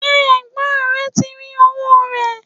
ṣé ẹ̀gbọ́n rẹ ti rí owó rẹ̀?